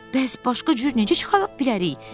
Bəs başqa cür necə çıxa bilərik?